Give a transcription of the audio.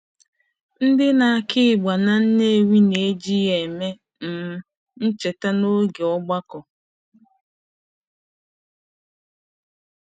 Ndị na-akụ ịgba na Nnewi na-eji ya eme um ncheta n'oge ọgbakọ.